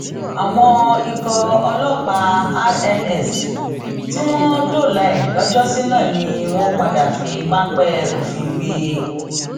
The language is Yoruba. àwọn ikọ ọlọpàá rns tí wọn dóòlà ẹ lọjọsí náà ni wọn padà fi páńpẹ òfin gbé e